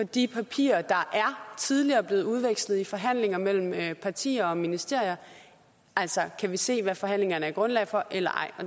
de papirer der tidligere er blevet udvekslet i forhandlinger mellem partier og ministerier kan vi se hvad forhandlingerne er grundlag for eller ej